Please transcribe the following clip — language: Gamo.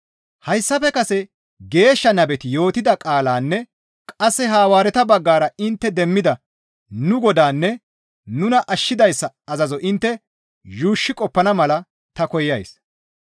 Hayssafe kase geeshsha nabeti yootida qaalanne qasse Hawaareta baggara intte demmida nu Godaanne nuna ashshidayssa azazo intte yuushshi qoppana mala ta koyays.